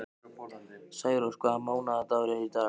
Særós, hvaða mánaðardagur er í dag?